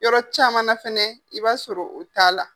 Yɔrɔ caman na fɛnɛ i b'a sɔrɔ o t'a la.